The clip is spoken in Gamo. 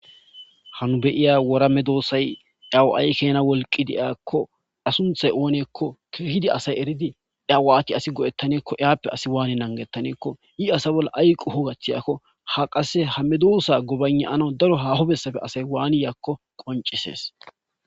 Hagan de'iya woora medosay ayi keena wolqqay de'iyakko a sunththay oonakko keehi asi eridi a waatti go'ettanakkon aafe asi waanni nangettanakko i asa bolla ay qoho gaththiyakko ha qase ha medosa gobayina'anaw daro haaho bessappe asay waanni yiyakko qonccises